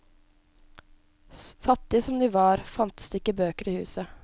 Fattige som de var, fantes det ikke bøker i huset.